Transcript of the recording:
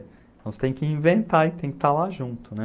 Então você tem que inventar e tem que estar lá junto, né?